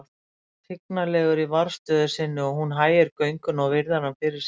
Hann er tignarlegur í varðstöðu sinni og hún hægir gönguna og virðir hann fyrir sér.